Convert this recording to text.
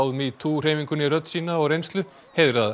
metoo hreyfingunni rödd sína og reynslu